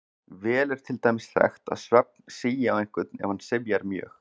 Vel er til dæmis þekkt að svefn sígi á einhvern ef hann syfjar mjög.